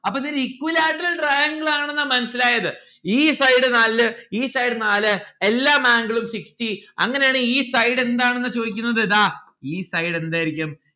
അപ്പൊ ഇതൊരു equilateral triangle ആണ് എന്നാണ് മനസ്സിലായത് ഈ side നാല് ഈ side നാല് എല്ലാ angle ഉം sixty അങ്ങനാണേൽ ഈ side എന്താണ് എന്നാണ് ചോദിക്കുന്നത് ദാ ഈ side എന്തായിരിക്കും